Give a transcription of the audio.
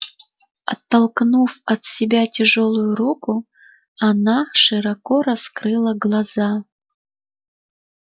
оттолкнув от себя тяжёлую руку она широко раскрыла глаза